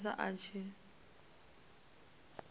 sa khou funa a tshi